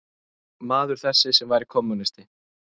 Maður þessi, sem væri kommúnisti